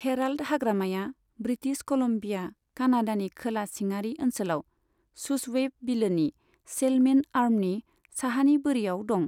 Herald हाग्रामाया British Columbia, कानाडानि खोला सिङारि ओनसोलाव शूसवैप बिलोनि सैल्मन आर्मनि साहानि बोरियाव दं।